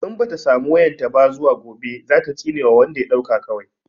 In bata samu wayan ta ba zuwa gobe zata tsine wa wanda ya ɗauka kawai